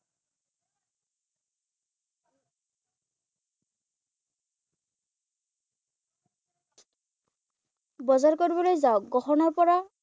বজাৰ কৰিবলৈ যাওঁক ৷ গহনাৰ পৰা